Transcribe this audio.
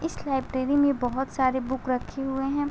इस लाइब्रेरी में बहोत सारे बुक रखी हुए हैं।